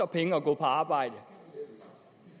penge at gå på arbejde